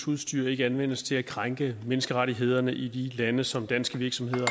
udstyr ikke anvendes til at krænke menneskerettighederne i de lande som danske virksomheder